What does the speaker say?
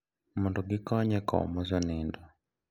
Mondo gikony e kowo mosenindo.